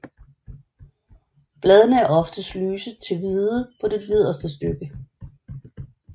Bladene er oftest lyse til hvide på det nederste stykke